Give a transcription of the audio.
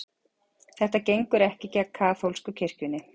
Þetta gengur ekki gegn kaþólsku kirkjunni